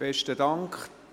Besten Dank.